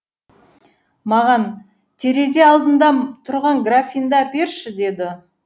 маған терезе алдында тұрған графинді әперші деді